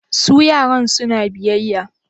Su yaran suna biyayya?